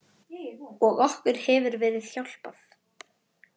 Og okkur hefur verið hjálpað.